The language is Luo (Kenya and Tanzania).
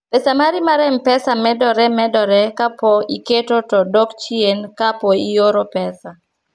pesa mari mar mpesa medore medore kapo iketo to dok chien kapo ioro pesa